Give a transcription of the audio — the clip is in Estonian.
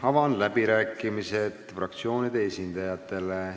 Avan läbirääkimised fraktsioonide esindajatele.